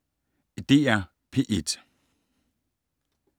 DR P1